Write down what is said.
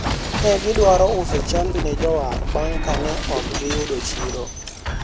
ne gidwaro uso chambi ne jowar bang' kane ok giyudo chiro